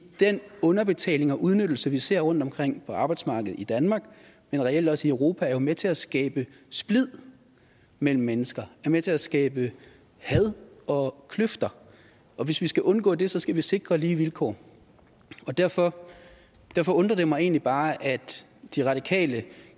den underbetaling og udnyttelse vi ser rundtomkring på arbejdsmarkedet i danmark men reelt også i europa er jo med til at skabe splid mellem mennesker er med til at skabe had og kløfter og hvis vi skal undgå det skal vi sikre lige vilkår derfor derfor undrer det mig egentlig bare at de radikale